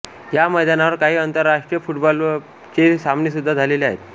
या मैदानावर काही आंतरराष्ट्रीय फुटबॉलचे सामनेसुध्दा झाले आहेत